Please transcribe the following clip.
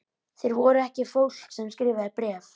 Þeir voru ekki fólk sem skrifaði bréf.